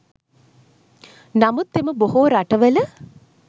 නමුත් එම බොහෝ රටවල